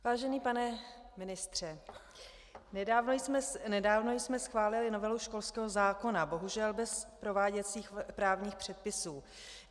Vážený pane ministře, nedávno jsme schválili novelu školského zákona, bohužel bez prováděcích právních předpisů.